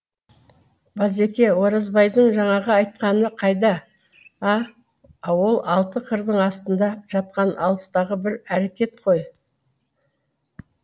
базеке оразбайдың жаңағы айтқаны қайда а ол алты қырдың астында жатқан алыстағы бір әрекет қой